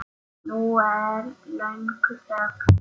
Nú er löng þögn.